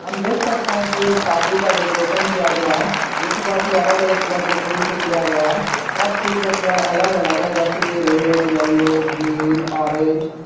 देख सकते हैं कि एक शादी का डेकोरेशन किया गया है जोकि बहुत ही अलग अलग कलर के फूल से किया गया है सब फूलों का कलर अलग अलग है जैसे की रेड येलो ग्रीन ऑरेंज ।